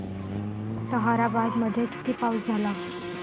ताहराबाद मध्ये किती पाऊस झाला